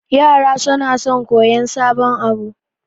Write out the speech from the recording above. Yara sona son koyan sabon abu